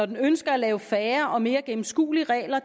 den ønsker at lave færre og mere gennemskuelige regler og